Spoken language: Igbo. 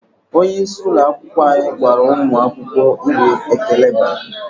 Onye isi ụlọ akwụkwọ anyị gwara ụmụ akwụkwọ uru ekele bara.